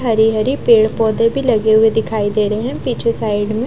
हरे-हरे पेड़ पौधें भी लगे हुए दिखाई दे रहे हैं पीछे साइड में।